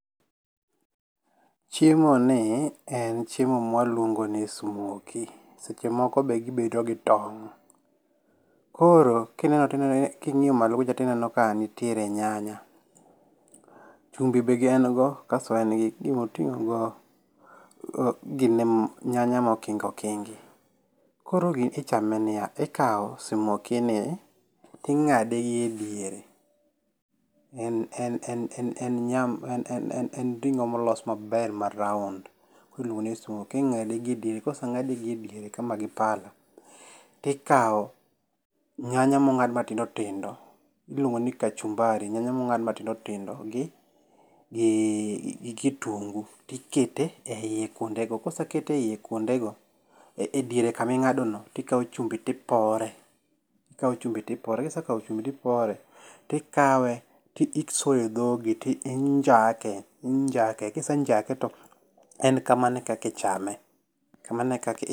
Chiemo ni en chiemo mwa luongo ni simoki. Seche moko be gibedo gi tong'. Koro kineno king'iyo malo kucho tineno ka nitiere nyanya. Chumbi be en go kasto en gi gimoting'o go nyanya mokingi okingi. Koro gini ichame niya. Ikaw simoki ni ting'ade gi ediere. E ring'o molos maber ma round. Koro iluongo ni simoki. Ing'ade gi ediere. Koseng'ade gi ediere kama gi pala tikaw nyanya mong'ad matindo tindo iluongo ni kachumbari, nyanya mongad matindotindo gi kitungu tiketo e yie kuonde go. Koseket e yie kuonde go e diere kaming'ado no, ti kaw chumbi ti pore. Kise kaw chumbi ti pore tikawe tisoye dhogi ti njake injake. Kisenjake to en kamano e kaka ichame. Kamano ekaka